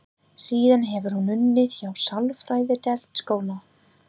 Síðan hefur hún unnið hjá sálfræðideild skóla.